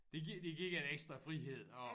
Det giver det gik en ekstra frihed at